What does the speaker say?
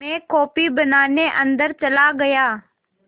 मैं कॉफ़ी बनाने अन्दर चला गया